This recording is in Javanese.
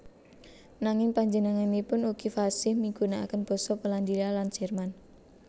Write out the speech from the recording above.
Nanging panjenenganipun ugi fasih migunakaken basa Polandia lan Jerman